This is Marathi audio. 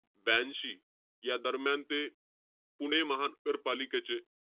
ब्यांशी, यादरम्यान ते पुणे महानगरपालिकेचे,